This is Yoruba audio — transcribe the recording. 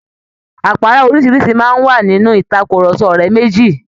Àpárá oríṣìíríṣìí máa ń wà nínú ìtàkurọ̀sọ ọ̀rẹ́ méjì